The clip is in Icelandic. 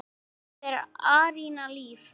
Dóttir þeirra: Aríanna Líf.